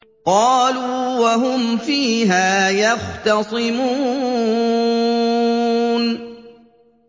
قَالُوا وَهُمْ فِيهَا يَخْتَصِمُونَ